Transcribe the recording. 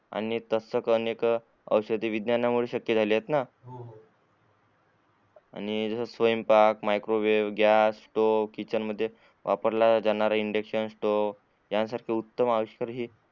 आणि तशेच अनेक शोध विज्ञाना मुळे शक्य झालेत ना आणि जस स्वयपांक माइक्रोवेब गॅस स्टो किचेन मध्ये वापरल्या जाणाऱ्या इन्डक्शन स्टो या सारख्या वापरल्या जाणाऱ्या उत्तम अविशकर